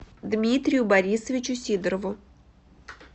дмитрию борисовичу сидорову